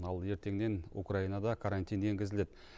ал ертеңнен украинада карантин енгізіледі